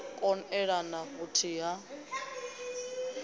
kon elelana na vhuthihi ha